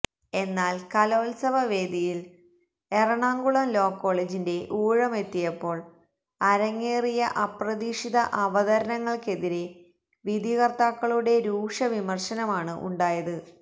എന്നാൽ കലോത്സവ വേദിയിൽ എറണാകുളം ലോ കോളജിന്റെ ഊഴമെത്തിയപ്പോൾ അരങ്ങേറിയ അപ്രതീക്ഷിത അവതരണങ്ങൾക്കെതിരെ വിധി കർത്താക്കളുടെ രൂക്ഷ വിമർശനമാണ് ഉണ്ടായത്